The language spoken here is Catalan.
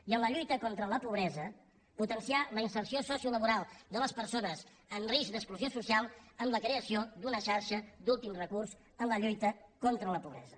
i en la lluita contra la pobresa potenciar la inserció sociolaboral de les persones en risc d’exclusió social amb la creació d’una xarxa d’últim recurs en la lluita contra la pobresa